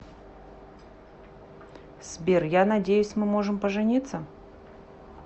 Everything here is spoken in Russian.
сбер я надеюсь мы можем пожениться